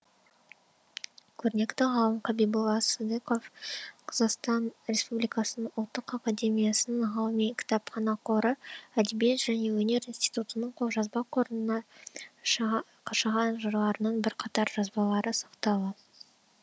көрнекті ғалым қабиболла сыдиықов қазақстан республикасының ұлттық академиясының ғылыми кітапхана қоры әдебиет және өнер институтының қолжазба қорында қашаған жырларының бірқатар жазбалары сақтаулы